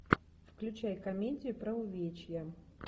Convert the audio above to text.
включай комедию про увечья